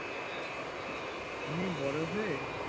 আমি বড় হয়ে